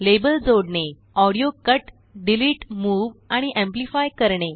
label जोडणेऑडिओकट delete move आणि amplify करणे